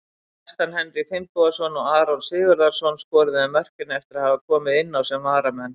Kjartan Henry Finnbogason og Aron Sigurðarson skoruðu mörkin eftir að hafa komið inn sem varamenn.